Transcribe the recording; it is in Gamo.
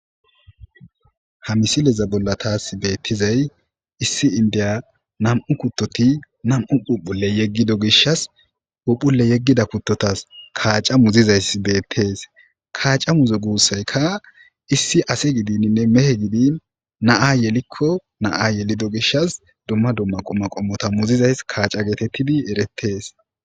Haa missileza bolla tasi betizayi issi inidiya nam''u kutoti nam''u phuphule yegiddi gishshas phuphule yegido kutotas kaca muzizoyiss betees.kaca muzo gussayikka issi ase gidinine mehedi gidin na'a yelikko na'a yeliddi gishshas dumma dumma qumata qommo muzizayiss kaca getettidi eretees.